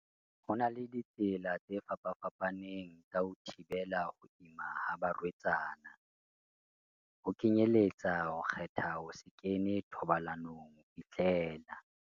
Ho na le ditsela tse fapafa paneng tsa ho thibela ho ima ha ba rwetsana, ho kenyeletsa ho kgetha ho se kene thobalanong ho fihlela